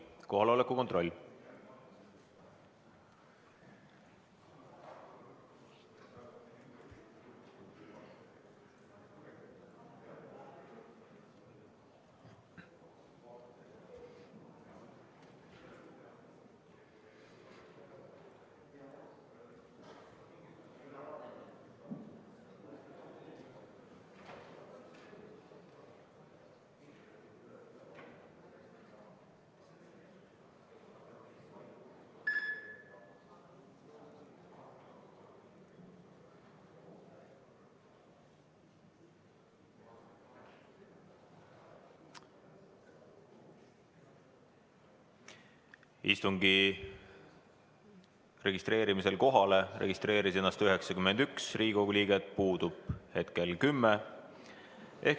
Kohalolijaks registreeris ennast 91 Riigikogu liiget, puudub 10.